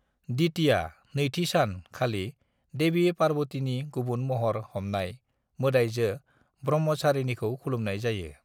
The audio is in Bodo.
"द्वितीया (नैथि सान) खालि, देवी पार्वतीनि गुबुन महर हमनाय, मोदाइजो ब्रह्मचारिणीखौ खुलुमनाय जायो।"